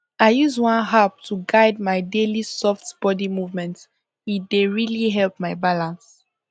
i use one app to guide my daily soft body movement e dey really help my balance